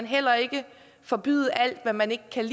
heller ikke forbyde alt hvad man ikke kan